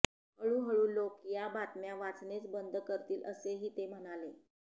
हळूहळू लोकं या बातम्या वाचणेच बंद करतील असेही ते म्हणाले